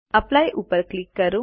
apply ઉપર click કરો